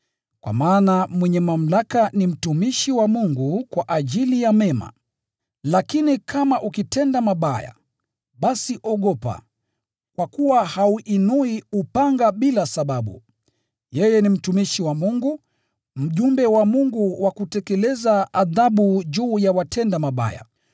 Kwa maana mwenye mamlaka ni mtumishi wa Mungu kwa ajili ya mema. Lakini kama ukitenda mabaya, basi ogopa, kwa kuwa hauinui upanga bila sababu. Yeye ni mtumishi wa Mungu, mjumbe wa Mungu wa kutekeleza adhabu juu ya watenda mabaya.